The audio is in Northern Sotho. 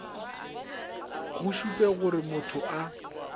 go šupe gore motho a